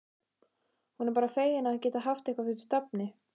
Hún er bara fegin að geta haft eitthvað fyrir stafni.